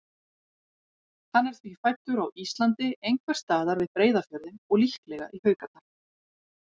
Hann er því fæddur á Íslandi, einhvers staðar við Breiðafjörðinn og líklega í Haukadal.